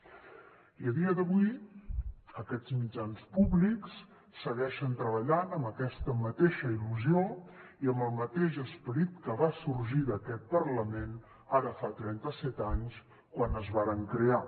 i a dia d’avui aquests mitjans públics segueixen treballant amb aquesta mateixa il·lusió i amb el mateix esperit que va sorgir d’aquest parlament ara fa trenta set anys quan es varen crear